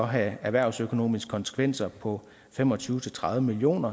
have erhvervsøkonomiske konsekvenser på fem og tyve til tredive million